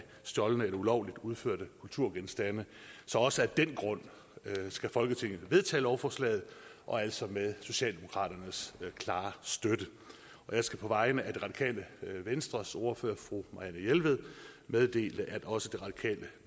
stjålne eller ulovligt udførte kulturgenstande så også af den grund skal folketinget vedtage lovforslaget og altså med socialdemokraternes klare støtte jeg skal på vegne af det radikale venstres ordfører fru marianne jelved meddele at også det radikale